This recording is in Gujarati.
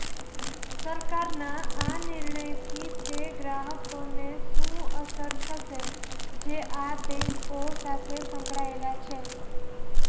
સરકારના આ નિર્ણયથી તે ગ્રાહકોને શું અસર થશે જે આ બેંકો સાથે સંકળાયેલા છે